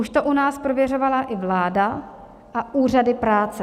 Už to u nás prověřovala i vláda a úřady práce.